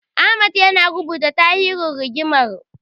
Ahmad yana rubuta tarihin rigimar.